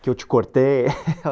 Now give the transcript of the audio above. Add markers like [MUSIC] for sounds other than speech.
Que eu te cortei? [LAUGHS]